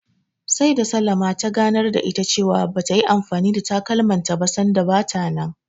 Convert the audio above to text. Sai da Salamah ta ganar da ita cewa bata yi anfani da takalmanta ba sanda bata nan.